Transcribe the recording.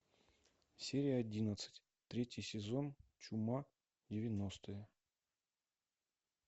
серия одиннадцать третий сезон чума девяностые